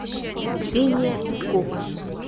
ксения питкова